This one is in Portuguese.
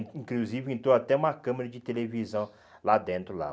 Inclusive entrou até uma câmera de televisão lá dentro lá.